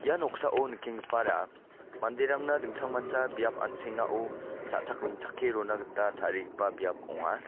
ia noksao nikenggipara manderangna dingtangmancha biap an·sengao cha·chak ringchake rona gita tarigipa biap ong·a.